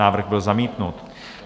Návrh byl zamítnut.